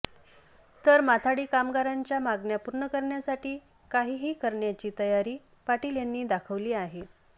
तर माथाडी कामगारांच्या मागण्या पूर्ण करण्यासाठी काहीही करण्याची तयारी पाटील यांनी दाखवली आहे